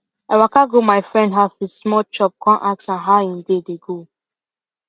i waka go my friend house with small chop kon ask am how him day dey go